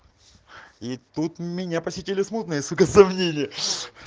и тут меня посетили смутные сука сомнения